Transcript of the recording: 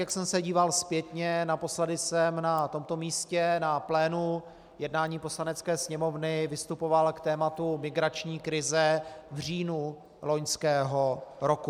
Jak jsem se díval zpětně, naposledy jsem na tomto místě, na plénu jednání Poslanecké sněmovny, vystupoval k tématu migrační krize v říjnu loňského roku.